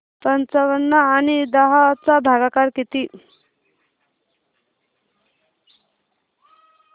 पंचावन्न आणि दहा चा भागाकार किती